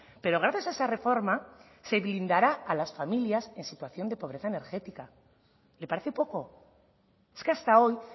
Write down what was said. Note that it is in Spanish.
pero gracias a esa reforma se blindará a las familias en situación de pobreza energética le parece poco es que hasta hoy